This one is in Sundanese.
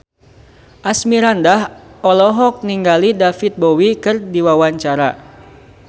Asmirandah olohok ningali David Bowie keur diwawancara